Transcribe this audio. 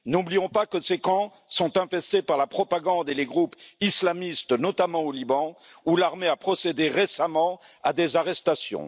N'oublions pas que ces camps sont infestés par la propagande et les groupes islamistes, notamment au Liban, où l'armée a procédé récemment à des arrestations.